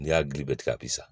Ni y'a dili bɛɛ tigɛ a bi sa